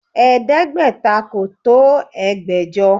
Ẹ̀ẹ́dẹ́gbẹ̀ta kò tó ẹgbẹ̀jọ